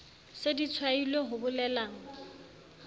se di tshwailwe ho bolelang